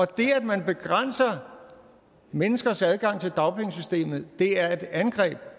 det at man begrænser menneskers adgang til dagpengesystemet er et angreb